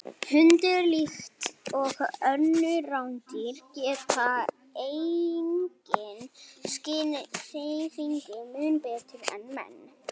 Hundar, líkt og önnur rándýr, geta einnig skynjað hreyfingu mun betur en menn.